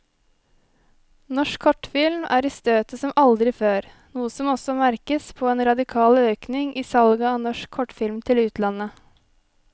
Norsk kortfilm er i støtet som aldri før, noe som også merkes på en radikal økning i salget av norsk kortfilm til utlandet.